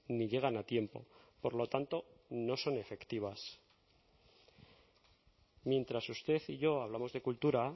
ni llegan a tiempo por lo tanto no son efectivas mientras usted y yo hablamos de cultura